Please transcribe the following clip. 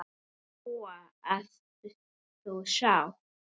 Lóa: Ert þú sáttur?